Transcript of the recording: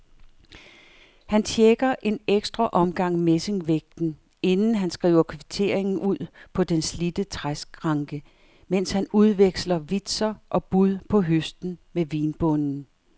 Han checker en ekstra gang messingvægten, inden han skriver kvitteringen ud på den slidte træskranke, mens han udveksler vitser og bud på høsten med vinbonden.